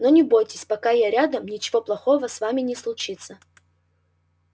но не бойтесь пока я рядом ничего плохого с вами не случится